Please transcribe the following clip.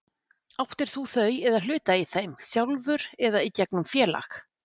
Áttir þú þau eða hluta í þeim, sjálfur eða í gegnum félag?